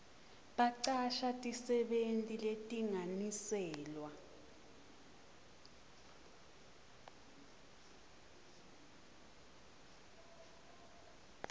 bacasha tisebenti letilinganiselwa